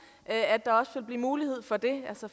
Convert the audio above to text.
og blive mulighed for det altså